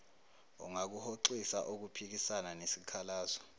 ungakuhoxisa ukuphikisana nesikhalazo